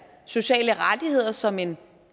sociale rettigheder som en